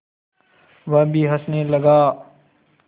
वह भी हँसने लगा